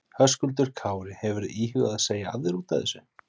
Höskuldur Kári: Hefurðu íhugað að segja af þér útaf þessu?